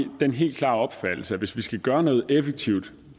den helt klare opfattelse at hvis vi skal gøre noget effektivt